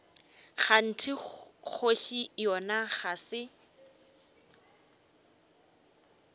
kganthe kgoši yona ga se